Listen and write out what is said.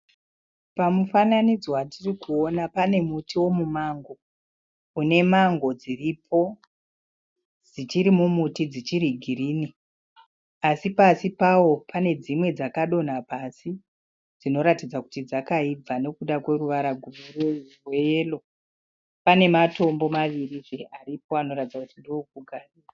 Pamufananidzo watirikuona pane muti wemumango une mango dziripo dzichiri mumuti dzichiri girinhi asi pasi pawo pane dzimwe dzakadonha pasi dzinoratidza kuti dzakaibva nekuda kweruvara rweyero. Pane matombo maviri aripo anoratidza kuti ndeekugarira.